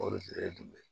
O de ye jumɛn ye